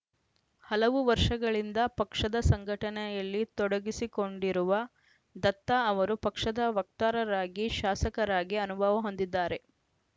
ಹಲವು ವರ್ಷಗಳಿಂದ ಪಕ್ಷದ ಸಂಘಟನೆಯಲ್ಲಿ ತೊಡಗಿಸಿಕೊಂಡಿರುವ ದತ್ತ ಅವರು ಪಕ್ಷದ ವಕ್ತರರಾಗಿ ಶಾಸಕರಾಗಿ ಅನುಭವ ಹೊಂದಿದ್ದಾರೆ